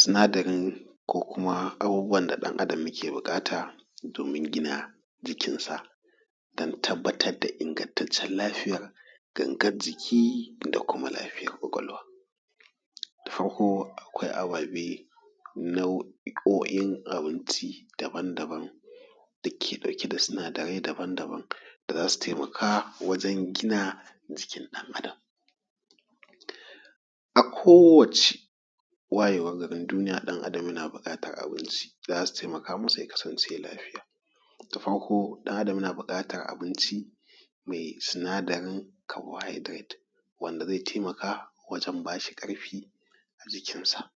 Sinadari ko kuma abubuwan da ɗan Adam yake buƙata domin gina jikinsa don tabbatar da ingantaccen lafiyar gangan jiki da kuma lafiyar ƙwaƙwalwa. Da farko akwai ababe ko kuma nau'in abinci daban-daban dake dauke da sinadarai daban-daban da za su taimaka wand zai gina jikin ɗan Adam. A kowacce wayewar garin duniya ɗan Adam yana buƙatar abinci da za su taimaka masa ya kasance lafiya da farko dan Adam yana buƙatar abinci mai sinadarin carbohydrate wanda zai ba shi ƙarfi a jikknsa,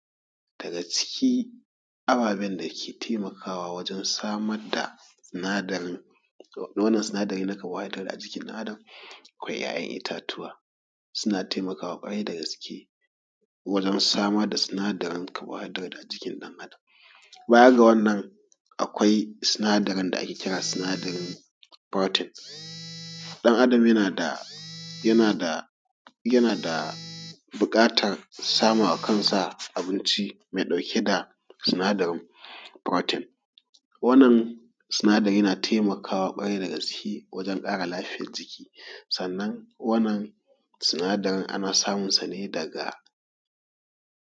daga cikkn ababen dake taimakawa wajen samar da sinadari na carbohydrate a jikin ɗan Adam. akwai 'ya'yan itatuwa suna taimakawa kwarai dagaske wajen samar da sinadari carbohydrate a jikin ɗan Adam. Baya ga wannan akwai sinadarin da ake kira sinadarin protein, ɗan Adam yana da buƙatar sama wa kansa buƙatar abinci mai dauke da sinadarin protein. Wannan sinadari na taimakawa ƙwarai dagaske waje ƙara lafiyar jiki. Sannan wannan sinadarin ana samun sa ne daga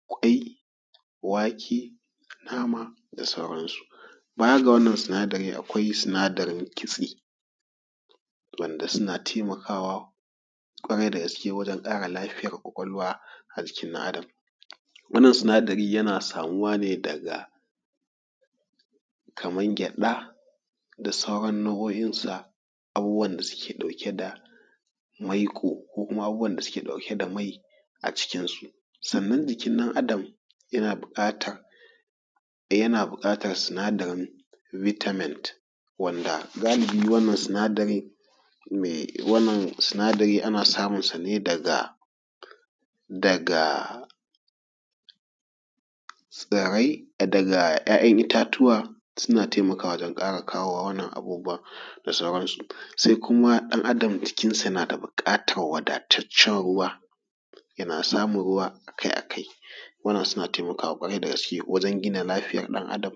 kwai, wake, nama da sauranasu. Baya ga wannan sinadari akwai sinadarin kitse wanda duna taimakawa wajen kara ƙara lafiyar ƙwaƙwalwa a jikin ɗan Adam. Wannan sinadari yana samuwa ne daga kamar gyaɗa da sauran nau'o'insa abubuwan da suke dauke da maiƙo ko abubuwan da suke dauke da mai a jikknsu. Sannan ɗan Adam yana buƙatar sinadarin vitamin wanda galibin wannan sinadari mai wannan sinadari ana samun sa ne daga tsirai daga 'ya'yan itatuwa suna taimakawa ne don ƙara kawo wannan abubuwa da sauransu. Sai kuma ɗan Adam jikknsa yana da buƙatar wadataccen ruwa yana samun ruwa a kai a kai wajen gina jiki da lafiya ɗan Adam